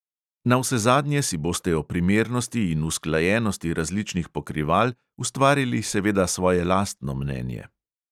Navsezadnje si boste o primernosti in usklajenosti različnih pokrival ustvarili seveda svoje lastno mnenje.